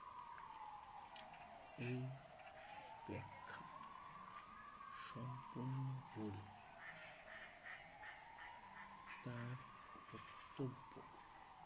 এই ব্যাখ্যা সম্পূর্ণ ভুল। তার বক্তব্য